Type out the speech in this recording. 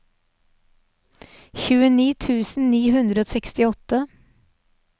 tjueni tusen ni hundre og sekstiåtte